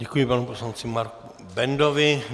Děkuji panu poslanci Marku Bendovi.